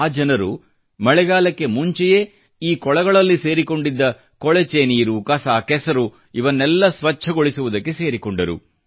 ಆ ಜನರು ಮಳೆಗಾಲಕ್ಕೆ ಮುಂಚೆಯೇ ಈ ಕೊಳಗಳಲ್ಲಿ ಸೇರಿಕೊಂಡಿದ್ದ ಕೊಳಚೆ ನೀರು ಕಸ ಕೆಸರು ಇವನ್ನೆಲ್ಲ ಸ್ವಚ್ಚಗೊಳಿಸುವುದಕ್ಕೆ ಸೇರಿಕೊಂಡರು